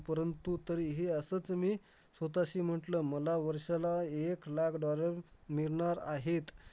आमच्या madam माया आमच्या class teacher चा सगळ्यात आवडता विद्यार्थी म्हणून मी होतो.